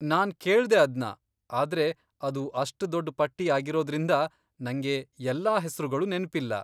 ನಾನ್ ಕೇಳ್ದೆ ಅದ್ನ, ಆದ್ರೆ ಅದು ಅಷ್ಟ್ ದೊಡ್ಡ್ ಪಟ್ಟಿ ಆಗಿರೋದ್ರಿಂದ, ನಂಗೆ ಎಲ್ಲಾ ಹೆಸ್ರುಗಳು ನೆನ್ಪಿಲ್ಲ.